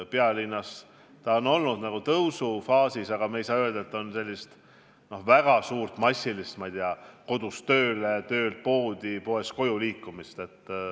Pealinnas see on ka olnud tõusufaasis, aga me ei saa öelda, et on väga suurt, massilist kodust tööle, töölt poodi ja poest koju rattaga liikumist.